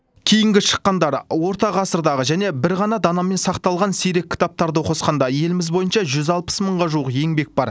кейінгі шыққандары орта ғасырдағы және бір ғана данамен сақталған сирек кітаптарды қосқанда еліміз бойынша жүз алпыс мыңға жуық еңбек бар